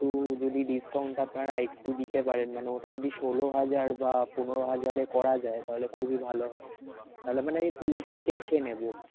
তো যদি discount টা আপনারা আরেকটু দিতে পারেন, মানে ওটা যদি ষোল হাজার বা পনের হাজারে করা যায় তাহলে খুবই ভালো হয়, তাহলে মানে এই পুরোটাই cash এ নেব.